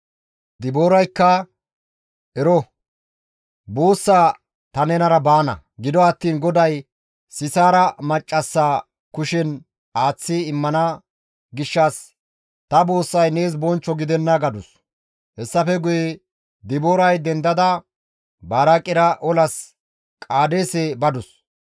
Dibooraykka, «Ero, buussaa ta nenara baana; gido attiin GODAY Sisaara maccassa kushen aaththi immana gishshas ta buussay nees bonchcho gidenna» gadus; hessafe guye Dibooray dendada Baraaqera olas Qaadeese badus.